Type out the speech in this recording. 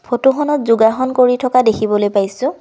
ফটোখনত যোগাসন কৰি থকা দেখিবলৈ পাইছোঁ।